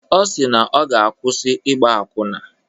Ọ si na ọ ga-akwụsị ịgba akwụna.